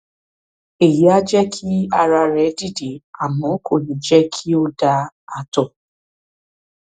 èyí á jẹ kí ara rẹ dìde àmọ kò ní jẹ kí o da ààtọ